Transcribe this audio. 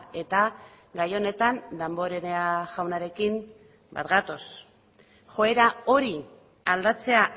eta gai honetan damborenea jaunarekin bat gatoz joera hori aldatzea